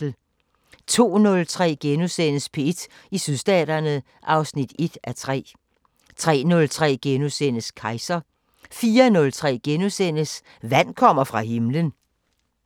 02:03: P1 i Sydstaterne (1:3)* 03:03: Kejser * 04:03: Vand kommer fra himlen *